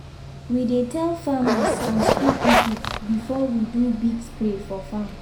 we dey tell farmers and school people before we do big spray for farm.